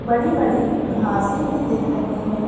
बड़ी बड़ी घासे भीं दिख रहीं हैं।